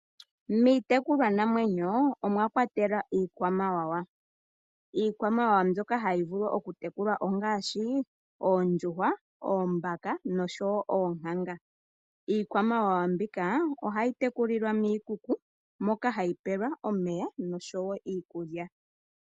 Miitekulwanamwenyo omwa kwatelwa iikwamawawa. Iikwamawawa mbyoka hayi vulu okutekulwa ongaashi oondjuhwa oombaka noonkanga. Iikwamawawa mbika ohai tekulilwa momagumbo moka hayi pewa omeya osho wo iikulya.